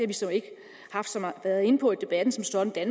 vi så ikke været inde på i debatten som sådan at